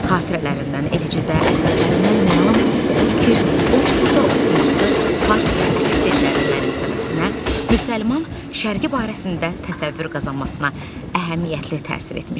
Xatirələrindən, eləcə də əsərlərindən məlum olur ki, onun burda oxuması fars və ərəb dillərini mənimsəməsinə, müsəlman şərqi barəsində təsəvvür qazanmasına əhəmiyyətli təsir etmişdi.